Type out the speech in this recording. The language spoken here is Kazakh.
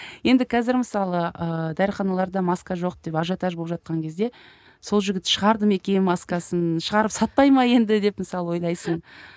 енді қазір мысалы ыыы дәріханаларда маска жоқ деп ажиотаж болып жатқан кезде сол жігіт шығарды ма екен маскасын шығарып сатпай ма енді деп мысалы ойлайсың